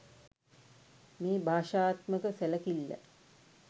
මේ භාෂාත්මක සැලකිල්ල